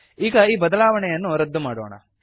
ಈಗ ಈ ಬದಲಾವಣೆಯನ್ನು ರದ್ದು ಮಾಡೋಣ